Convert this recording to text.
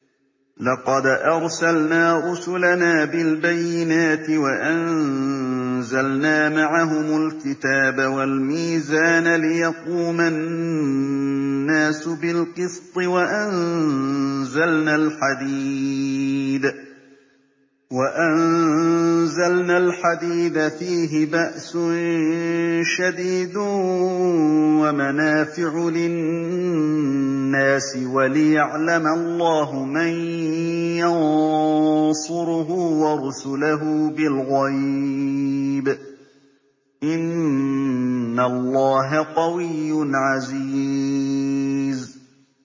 لَقَدْ أَرْسَلْنَا رُسُلَنَا بِالْبَيِّنَاتِ وَأَنزَلْنَا مَعَهُمُ الْكِتَابَ وَالْمِيزَانَ لِيَقُومَ النَّاسُ بِالْقِسْطِ ۖ وَأَنزَلْنَا الْحَدِيدَ فِيهِ بَأْسٌ شَدِيدٌ وَمَنَافِعُ لِلنَّاسِ وَلِيَعْلَمَ اللَّهُ مَن يَنصُرُهُ وَرُسُلَهُ بِالْغَيْبِ ۚ إِنَّ اللَّهَ قَوِيٌّ عَزِيزٌ